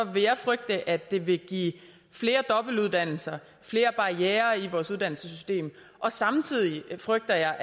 vil jeg frygte at det vil give flere dobbeltuddannelser flere barrierer i vores uddannelsessystem og samtidig frygter jeg